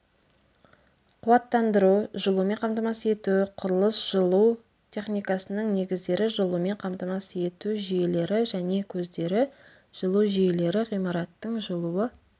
қуаттандыру жылумен қамтамасыз ету құрылыс жылу техникасының негіздері жылумен қамтамасыз ету жүйелері және көздері жылу жүйелері ғимараттың жылуы